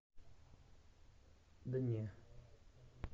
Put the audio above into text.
дне